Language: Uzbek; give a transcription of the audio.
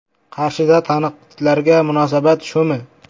Qarshida tanqidlarga munosabat shumi?.